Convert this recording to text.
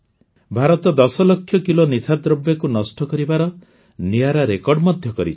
Bharat ୧୦ lakh kilo ନିଶାଦ୍ରବ୍ୟକୁ ନଷ୍ଟ କରିବାର ନିଆରା ରେକର୍ଡ ମଧ୍ୟ କରିଛି